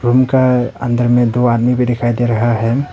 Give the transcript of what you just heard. Room का अंदर में दो आदमी भी दिखाई दे रहा है।